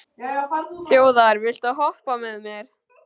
Þjóðar, viltu hoppa með mér?